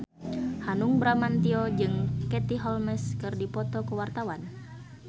Hanung Bramantyo jeung Katie Holmes keur dipoto ku wartawan